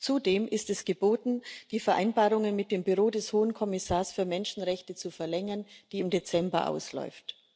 Zudem ist es geboten, die Vereinbarung mit dem Büro des Hohen Kommissars für Menschenrechte zu verlängern, die im Dezember ausläuft.